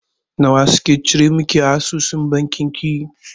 Nawa suka cire miki a asusun banki ki?